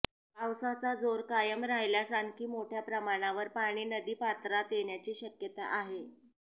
पावसाचा जोर कायम राहिल्यास आणखी मोठ्या प्रमाणावर पाणी नदीपात्रात येण्याची शक्यता आहे